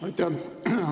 Aitäh!